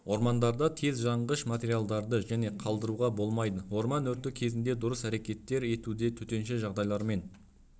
ормандарда тез жаңғыш материалдарды және қалдыруға болмайды орман өрті кезінде дұрыс әрекет етуде төтенше жағдайлармен